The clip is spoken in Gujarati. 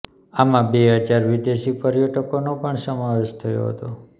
આમાં બે હજાર વિદેશી પર્યટકોનો પણ સમાવેશ થતો હતો